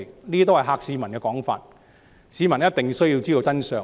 其實，這些是嚇市民的說法，市民必須知道真相。